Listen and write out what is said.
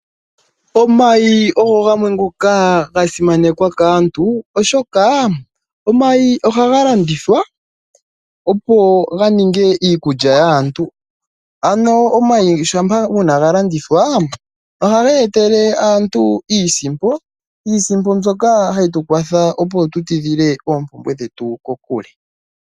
Omayi ogho gamwe ngoka ga simanekwa kaantu oshoka omayi ohaga landithwa opo ganinge iikulya yaantu. Omayi shampa uuna galandithwa oha geetele aantu iisimpo, iisimpo mbyoka hayi tu kwathele opo tu tidhile oompumbwe dhetu kokule.